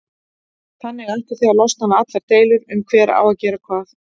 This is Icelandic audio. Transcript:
Þannig ættuð þið að losna við allar deilur um hver á að gera hvað.